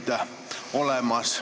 Aitäh!